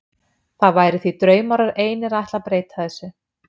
Það væri því draumórar einir að ætla að breyta þessu.